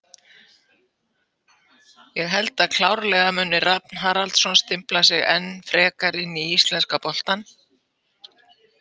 Ég held að klárlega muni Rafn Haraldsson stimpla sig enn frekar inn í íslenska boltann.